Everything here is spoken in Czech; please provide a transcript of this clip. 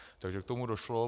Takže k tomu došlo.